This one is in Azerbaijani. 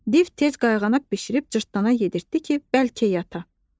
Div tez qayğanaq bişirib cırtdana yedirtdi ki, bəlkə yata.